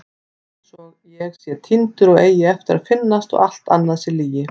Einsog ég sé týndur og eigi eftir að finnast og allt annað sé lygi.